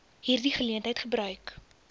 hierdie geleentheid gebruik